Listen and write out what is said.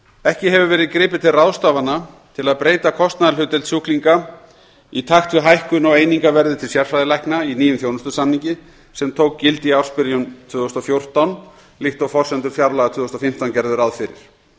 ekki hefur verið gripið til ráðstafana til að breyta kostnaðarhlutdeild sjúklinga í takt við hækkun á einingaverði til sérfræðilækna í nýjum þjónustusamningi sem tók gildi í ársbyrjun tvö þúsund og fjórtán líkt og forsendur fjárlaga tvö þúsund og fimmtán gerðu ráð fyrir